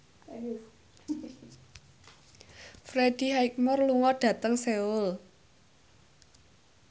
Freddie Highmore lunga dhateng Seoul